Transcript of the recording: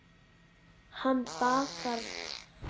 Hann bakkar frá henni.